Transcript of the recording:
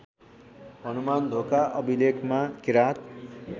हनुमानढोका अभिलेखमा किराँत